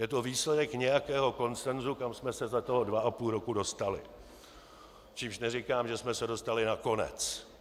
Je to výsledek nějakého konsensu, kam jsme se za toho dva a půl roku dostali, čímž neříkám, že jsme se dostali na konec.